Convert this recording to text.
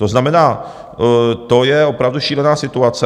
To znamená, to je opravdu šílená situace.